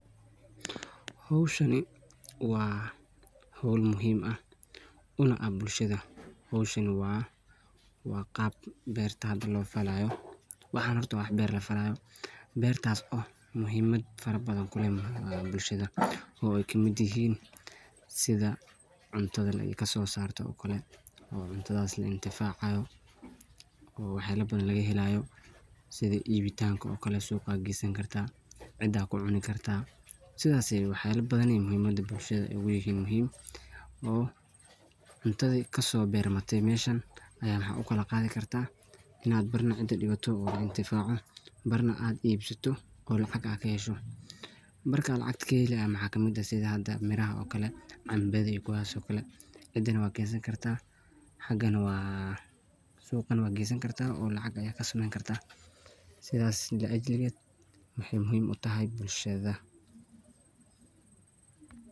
Hawshani waa hool muhiim aah dinaca`a buulshadha. Hawshani waa qaabka beerta loo falayo waxan horta waa beer lafalayo beertas oo muhiimad farabadhan kuleeh buulshadha oo kamid eheen; sidha cuntadha laa kasosarto oo kale oo cuntadhas laa inti facayo oo waxayala badhan lagahelayo; sidhii ibitanka oo kale, suga geesani kartaa, cidaa kucuni kartaa sidhaas iyo waxa yaala badhan muhiimada buulshadah ay ugalehiin muhiim oo cuntadhi kaso bermatii meshan aya waxa ukali qadhi kartaa inaa baarna cida digato oo cintifacdo barna aad eebsato oo lacaq aa kehesho. Marka lacaqta kaheeli maxa kamid eeh sidha hada miraha oo kale cambadhi kuwaas oo kale cidana waa keesani karta sugana waa geesani karta oo lacag aya kasameni kartaa sidhas laa ajlikeed waxay muhiim u tahay buulshadha.